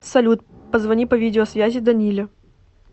салют позвони по видеосвязи даниле